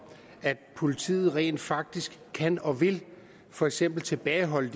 at politiet rent faktisk kan og vil for eksempel tilbageholde